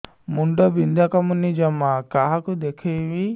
ମୁଣ୍ଡ ବିନ୍ଧା କମୁନି ଜମା କାହାକୁ ଦେଖେଇବି